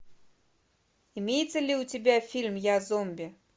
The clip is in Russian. имеется ли у тебя фильм я зомби